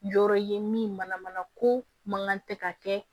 Yɔrɔ ye min mana mana ko mankan tɛ ka kɛ